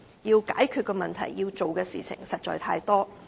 要解決的問題、要做的事情實在太多。